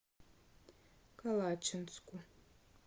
калачинску